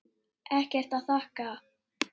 Ekkert að þakka